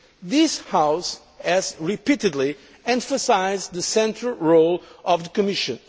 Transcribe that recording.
This House has repeatedly emphasised the central role of the Commission.